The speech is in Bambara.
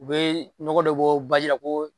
U be nɔgɔ dɔ be bɔ baji la ko